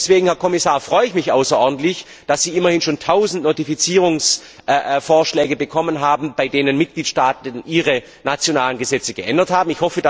Deswegen, Herr Kommissar, freue ich mich außerordentlich, dass Sie immerhin schon tausend Notifizierungsvorschläge bekommen haben, bei denen Mitgliedstaaten ihre nationalen Gesetze geändert haben.